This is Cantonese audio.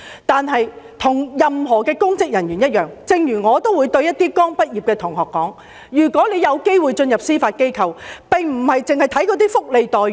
但是，與任何公職人員一樣......正如我也會對一些剛畢業的同學說，如果有機會進入司法機構，並非只看福利待遇。